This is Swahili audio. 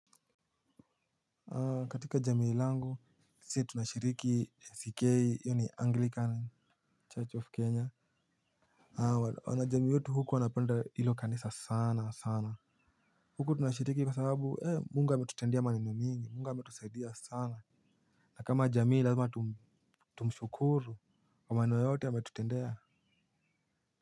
Katika jamii langu sisi tunashiriki ACK yaani anglican church of kenya. Wanajamii wetu huku wanapenda hilo kanisa sana sana huku tunashiriki kwa sababu mungu ametutendea maneno mingi mungu ametusaidia sana na kama jamii lazima tumshukuru kwa maneno yote ametutendea.